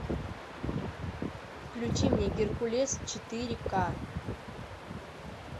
включи мне геркулес четыре ка